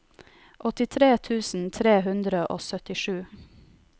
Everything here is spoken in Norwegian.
åttitre tusen tre hundre og syttisju